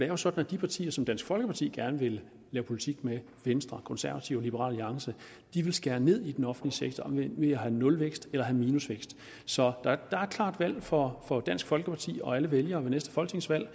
jo sådan at de partier som dansk folkeparti gerne vil lave politik med venstre konservative og liberal alliance vil skære ned i den offentlige sektor ved at have nulvækst eller minusvækst så der er et klart valg for for dansk folkeparti og alle vælgere ved næste folketingsvalg